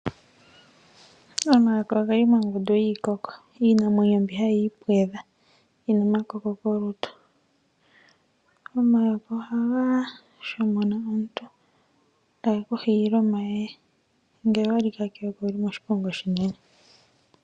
Omayoka oheli mongundu yiikoko, iinamwenyo mbi hayii pwedha yina omakoko kolutu. Omayoka ohaga shomona omuntu etagu ku hiile omayeye. Ngele owalika keyoka owuli moshiponga oshinene.